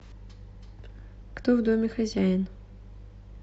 кто в доме хозяин